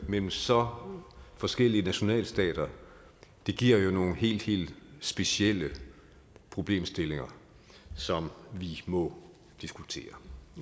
mellem så forskellige nationalstater giver jo nogle helt helt specielle problemstillinger som vi må diskutere